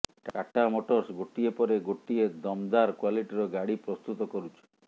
Tata Motors ଗୋଟିଏ ପରେ ଗୋଟିଏ ଦମଦାର କ୍ବାଲିଟିର ଗାଡ଼ି ପ୍ରସ୍ତୁତ କରୁଛି